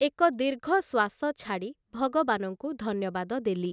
ଏକ ଦୀର୍ଘଶ୍ୱାସ ଛାଡ଼ି ଭଗବାନଙ୍କୁ ଧନ୍ୟବାଦ ଦେଲି ।